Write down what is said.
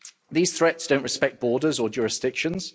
These threats don't respect borders or jurisdictions.